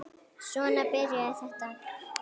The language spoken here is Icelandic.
Svona byrjaði þetta.